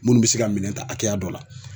Minnu bi se ka minɛn ta hakɛya dɔ la